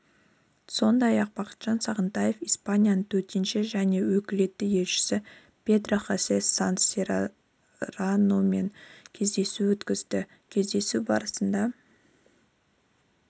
сондай-ақ бақытжан сағынтаев испанияның төтенше және өкілетті елшісі педро хосе санс серраномен кездесу өткізді кездесу барысында